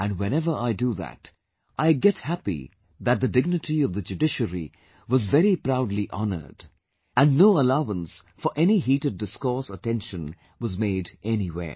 And whenever I do that, I get happy that the dignity of the judiciary was very proudly honoured and no allowance for any heated discourse or tension was made anywhere